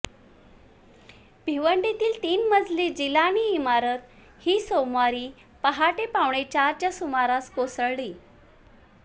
भिवंडीतील तीन मजली जिलानी इमारत ही सोमवारी पहाटे पावणेचारच्या सुमारास कोसळली